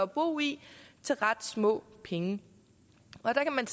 bo i til ret små penge og der kan man